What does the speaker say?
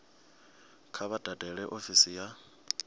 kha vha dalele ofisi ya